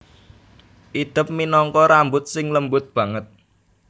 Idep minangka rambut sing lembut banget